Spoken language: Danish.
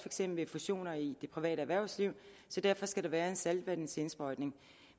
eksempel fusioner i det private erhvervsliv så derfor skal der være en saltvandsindsprøjtning